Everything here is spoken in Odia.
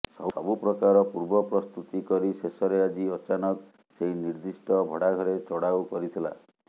ସବୁ ପ୍ରକାର ପୂର୍ବ ପ୍ରସ୍ତୁତି କରି ଶେଷରେ ଆଜି ଅଚାନକ ସେହି ନିର୍ଦ୍ଦିଷ୍ଟ ଭଡ଼ାଘରେ ଚଢ଼ାଉ କରିଥିଲା